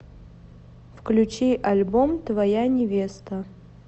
включи альбом твоя невеста